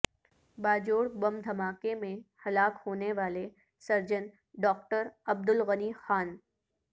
باجوڑ بم دھماکے میں ہلاک ہونے والے سرجن ڈاکٹر عبدالغنی خان